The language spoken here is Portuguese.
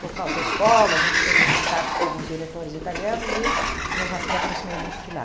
Por causa da escola, a gente teve uns contatos com alguns diretores italianos e nos a eu me aproximei muito de lá.